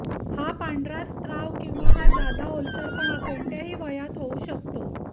हा पांढरा स्त्राव किंवा हा जादा ओलसरापणा कोणत्याही वयात होऊ शकतो